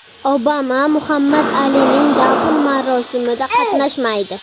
Obama Muhammad Alining dafn marosimida qatnashmaydi.